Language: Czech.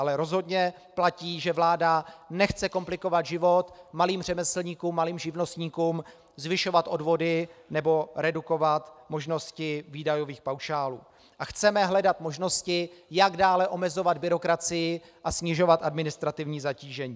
Ale rozhodně platí, že vláda nechce komplikovat život malým řemeslníkům, malým živnostníkům, zvyšovat odvody nebo redukovat možnosti výdajových paušálů, a chceme hledat možnosti, jak dále omezovat byrokracii a snižovat administrativní zatížení.